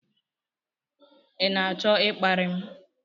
ị na-achọ ịkparị m?